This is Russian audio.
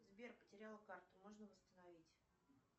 сбер потеряла карту можно восстановить